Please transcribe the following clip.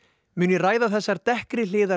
mun ég ræða þessar dekkri hliðar